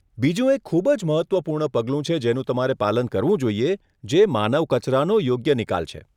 બીજું એક ખૂબ જ મહત્વપૂર્ણ પગલું છે જેનું તમારે પાલન કરવું જોઈએ, જે માનવ કચરાનો યોગ્ય નિકાલ છે.